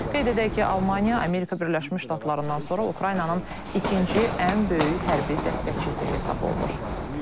Qeyd edək ki, Almaniya Amerika Birləşmiş Ştatlarından sonra Ukraynanın ikinci ən böyük hərbi dəstəkçisi hesab olunur.